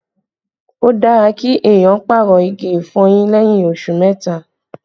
Ó dára kí èèyàn pàrọ̀ igi ìfọyín lẹ́yìn oṣù mẹ́ta